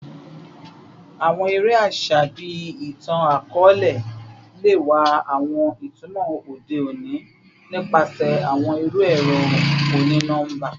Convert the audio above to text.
Awọn ere aṣa bii itan-akọọlẹ le wa awọn itumọ ode oni nipasẹ awọn iru ẹrọ oni-nọmba